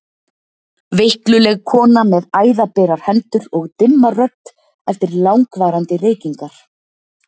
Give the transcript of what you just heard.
Veikluleg kona með æðaberar hendur og dimma rödd eftir langvarandi reykingar.